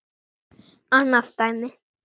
Annað dæmi